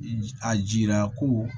A jira ko